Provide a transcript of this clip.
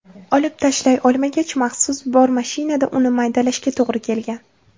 Olib tashlay olmagach, maxsus bormashinada uni maydalashga to‘g‘ri kelgan.